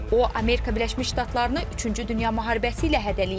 O Amerika Birləşmiş Ştatlarını üçüncü dünya müharibəsi ilə hədələyib.